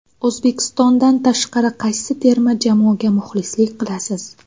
O‘zbekistondan tashqari qaysi terma jamoaga muxlislik qilasiz?